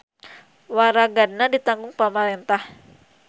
Waragadna ditanggung pamarentah.